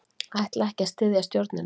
Ætla ekki að styðja stjórnina